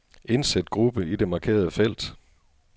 Indsæt gruppe i det markerede felt.